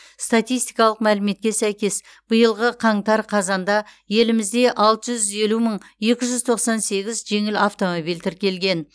статистикалық мәліметке сәйкес биылғы қаңтар қазанда елімізде алты жүз елу мың екі жүз тоқсан сегіз жеңіл автомобиль тіркелген